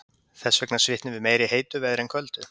Þess vegna svitnum við meira í heitu veðri en köldu.